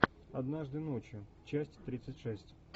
однажды ночью часть тридцать шесть